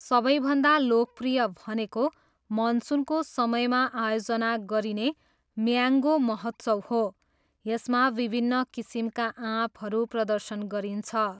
सबैभन्दा लोकप्रिय भनेको मनसुनको समयमा आयोजना गरिने म्याङ्गो महोत्सव हो, यसमा विभिन्न किसिमका आँपहरू प्रदर्शन गरिन्छ।